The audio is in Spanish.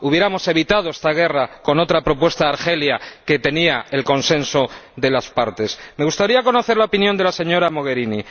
Habríamos evitado esta guerra con otra propuesta de Argelia que contaba con el consenso de las partes. Me gustaría conocer la opinión de la señora Mogherini.